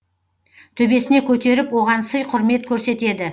төбесіне көтеріп оған сый құрмет көрсетеді